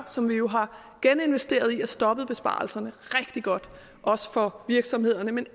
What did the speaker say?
som vi jo har geninvesteret i og stoppet besparelserne rigtig godt også for virksomhederne men